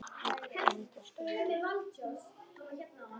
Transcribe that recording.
Hann átti að heita Skundi.